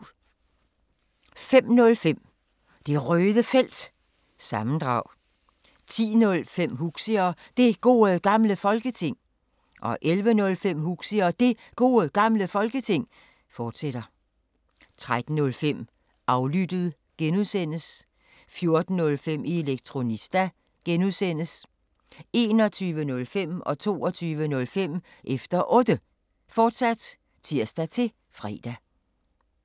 05:05: Det Røde Felt – sammendrag 10:05: Huxi og Det Gode Gamle Folketing 11:05: Huxi og Det Gode Gamle Folketing, fortsat 13:05: Aflyttet (G) 14:05: Elektronista (G) 21:05: Efter Otte, fortsat (tir-fre) 22:05: Efter Otte, fortsat (tir-fre)